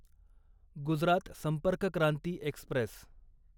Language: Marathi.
गुजरात संपर्क क्रांती एक्स्प्रेस